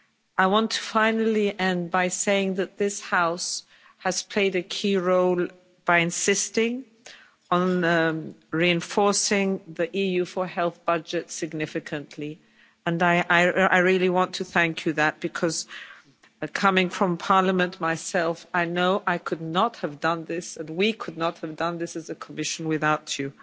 I want to end by saying that this House has played a key role by insisting on reinforcing the EU4Health budget significantly, and I really want to thank you for that, because coming from Parliament myself, I know I could not have done this, and we could not have done this as the Commission, without you.